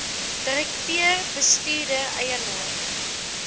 direkteur bestuurder eienaar